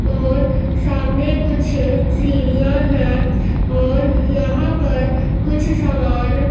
और सामने कुछ सीढ़ियां है और यहां पर कुछ सामान--